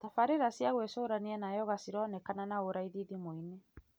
Tbarĩra cia gwĩcurania na yoga cironekana na ũraithi thimũ-inĩ,